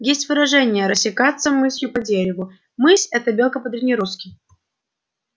есть выражение растекаться мысью по дереву мысь это белка по-древнерусски